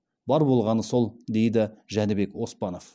бар болғаны сол дейді жәнібек оспанов